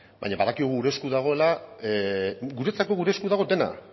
baina badakigu gure esku dagoela guretzako gure esku dago dena